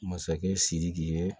Masakɛ sidiki ye